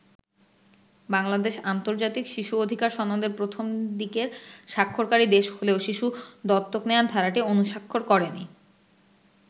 বাংলাদেশ আন্তর্জাতিক শিশু অধিকার সনদের প্রথম দিকের স্বাক্ষরকারী দেশ হলেও শিশু দত্তক নেয়ার ধারাটি অনুস্বাক্ষর করেনি।